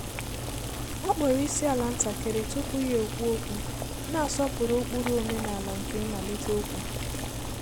Ọ kpọọrọ isiala ntakịrị tupu ya ekwuo okwu, na-asọpụrụ ụkpụrụ omenala nke imalite ókwú.